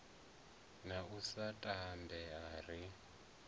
na u sa tambea ri